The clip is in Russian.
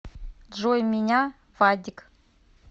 джой меня вадик